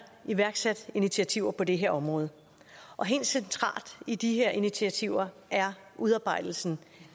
iværksat initiativer på det her område helt centralt i de her initiativer er udarbejdelsen